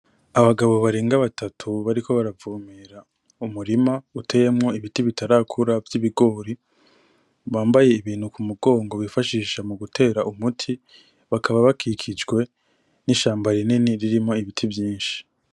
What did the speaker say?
Abagabo barenga batatu bariko baravomera mu murima uteyemwo ibiti bitarakura vy'ibigori, bambaye Ibintu ku mugongo bifashisha mu gutera umuti. Bakaba bakikijwe n'ishamba rinini ririmwo ibiti vyinshi.